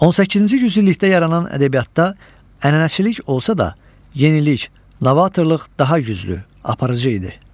18-ci yüzillikdə yaranan ədəbiyyatda ənənəçilik olsa da, yenilik, novatorluq daha güclü aparıcı idi.